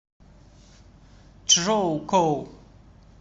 чжоукоу